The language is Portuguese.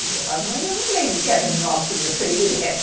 Eu falo, mãe, eu não lembro que era nhoque o meu predileto